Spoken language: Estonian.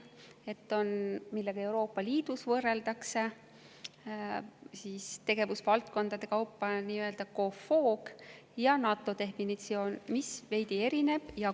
Üks on see, millega Euroopa Liidus võrreldakse tegevusvaldkondade kaupa, nii-öelda COFOG, ja on ka NATO definitsioon, mis sellest veidi erineb.